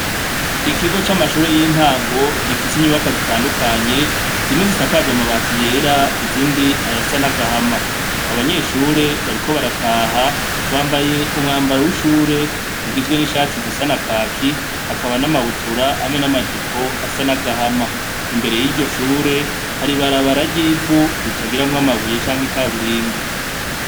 ikigo c' amashure y' intango gifis' inyubakwa zitandukanye, zimwe zisakaj' amabati yera, izind' ayasa n'agahama, abanyeshure bariko barataha bambay' umwambaro w' ishur' ugizwe n' ishati zisa na kaki hakaba n' amabutura hamwe n' amajipo bisa n' agahama, imbere yiryo shure har' ibarabara ry'ivu ritagiramw' amabuye cank' ikaburimbi.